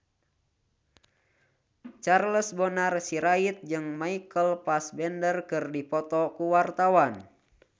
Charles Bonar Sirait jeung Michael Fassbender keur dipoto ku wartawan